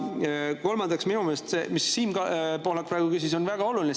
Kolmandaks, minu meelest see, mida Siim Pohlak praegu küsis, on väga oluline.